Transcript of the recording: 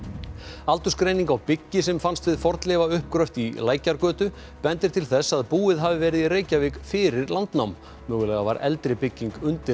aldursgreining á byggi sem fannst við fornleifauppgröft í Lækjargötu bendir til þess að búið hafi verið í Reykjavík fyrir landnám mögulega var eldri bygging undir